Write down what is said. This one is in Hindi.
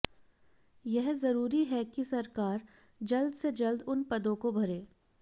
यह जरूरी है कि सरकार जल्द से जल्द उन पदों को भरे